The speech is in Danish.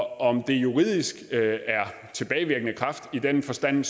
om det juridisk er tilbagevirkende kraft i den forstand